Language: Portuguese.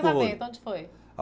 Onde foi?